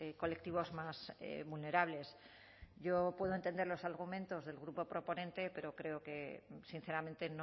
colectivos más vulnerables yo puedo entender los argumentos del grupo proponente pero creo que sinceramente